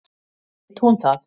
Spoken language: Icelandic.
Veit hún það?